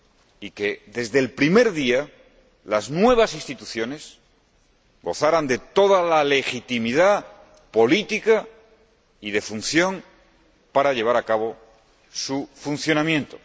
y que, desde el primer día, las nuevas instituciones gozaran de toda la legitimidad política y de función para llevar a cabo su funcionamiento.